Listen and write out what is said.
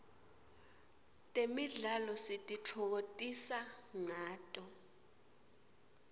temidlalo sititfokotisa ngato